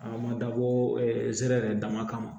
A ma dabɔ ɛrɛ dama kama